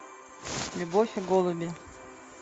любовь и голуби